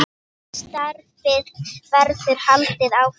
Því starfi verður haldið áfram.